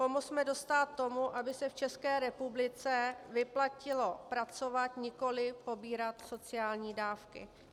Pomozme dostát tomu, aby se v České republice vyplatilo pracovat, nikoli pobírat sociální dávky.